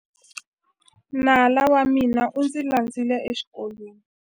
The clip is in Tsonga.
Nala wa mina u ndzi landzile exikolweni.